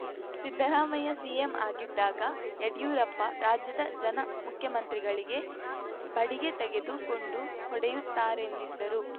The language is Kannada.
ಸಿದ್ದರಾಮಯ್ಯ ಸಿಎಂ ಆಗಿದ್ದಾಗ ಯಡಿಯೂರಪ್ಪ ರಾಜ್ಯದ ಜನ ಮುಖ್ಯಮಂತ್ರಿಗಳಿಗೆ ಬಡಿಗೆ ತೆಗೆದುಕೊಂಡು ಹೊಡೆಯುತ್ತಾರೆಂದಿದ್ದರು